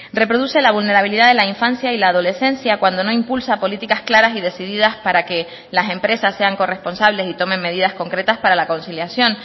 reproduce la vulnerabilidad de la infancia y la adolescencia cuando no impulsa políticas claras y decididas para que las empresas sean corresponsables y tomen medidas concretas para la conciliación